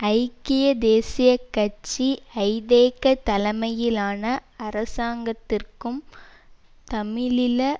ஐக்கிய தேசிய கட்சி ஐதேக தலைமையிலான அரசாங்கத்திற்கும் தமிழீழ